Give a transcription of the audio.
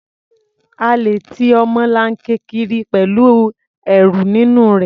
A lè ti ọmọlanke kiri pẹ̀lú ẹrù nínú rẹ̀.